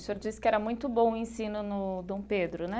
O senhor disse que era muito bom o ensino no Dom Pedro, né?